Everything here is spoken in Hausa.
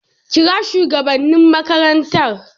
kira shugabannin makarantar